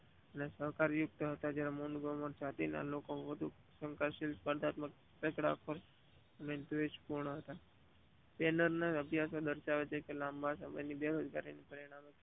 સડ઼કરણયુક્ત હતા એનું ભાવિ જાતિઓ અને વધુ સંતશીલ જાતિઓ ના લોકો દેશ પ્રુવ હતા અભિયાંશ દર્શાવે છે કે લાંબા સમય માં